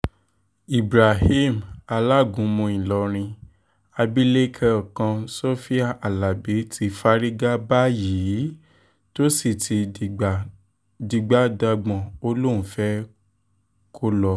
ibrahim alágúnmu ìlọrin abilékọ kan sofia alábi ti fárígá báyìí t sì ti dìgbà dìgbà dagbọ̀n ó lóun fẹ́ẹ́ kólọ